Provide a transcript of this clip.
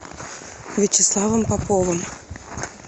вячеславом поповым